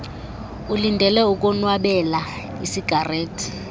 ulindele ukonwabela isigarethi